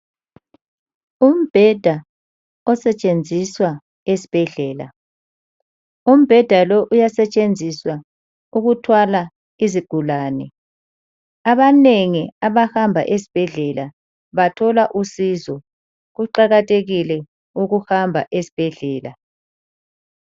Umbheda osetshenziswa esibhedlela, umbheda lo uyasetshenziswa ukuthwala izigulane. Abanengi abahamba esibhedlela bathola usizo, kuqakathekile ukuhamba esibhedlela.